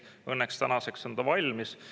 Õnneks tänaseks on ta valmis.